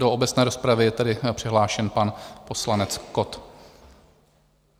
Do obecné rozpravy je tedy přihlášen pan poslanec Kott.